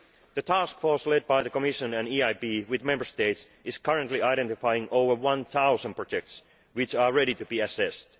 The task force led by the Commission and the EIB, with Member States, is currently identifying over a thousand projects which are ready to be assessed.